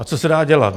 A co se dá dělat?